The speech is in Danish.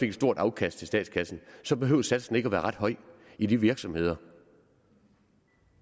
et stort afkast til statskassen så behøvede satsen ikke at være ret høj i de virksomheder